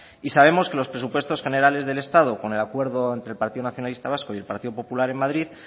y sabemos que los presupuestos generales del estado con el acuerdo entre el partido nacionalista vasco y el partido popular en madrid